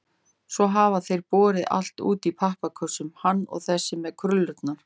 Svo hafa þeir borið allt út í pappakössum, hann og þessi með krullurnar.